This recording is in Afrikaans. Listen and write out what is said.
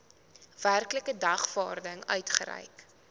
werklike dagvaarding uitgereik